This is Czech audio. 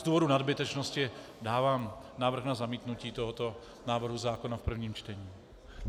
Z důvodu nadbytečnosti dávám návrh na zamítnutí tohoto návrhu zákona v prvním čtení.